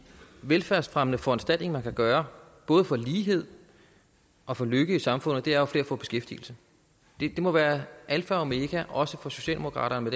velfærdsfremmende foranstaltning man kan gøre både for lighed og for lykke i samfundet er jo at flere får beskæftigelse det må være alfa og omega også for socialdemokraterne